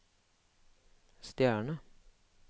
stjerne